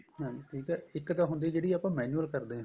ਹਾਂਜੀ ਇੱਕ ਤਾਂ ਹੁੰਦੀ ਜਿਹੜੀ ਆਪਾਂ manual ਕਰਦੇ ਆ